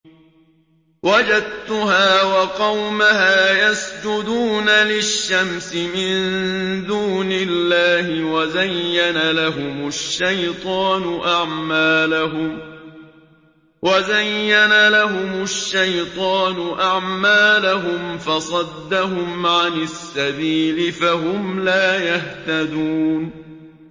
وَجَدتُّهَا وَقَوْمَهَا يَسْجُدُونَ لِلشَّمْسِ مِن دُونِ اللَّهِ وَزَيَّنَ لَهُمُ الشَّيْطَانُ أَعْمَالَهُمْ فَصَدَّهُمْ عَنِ السَّبِيلِ فَهُمْ لَا يَهْتَدُونَ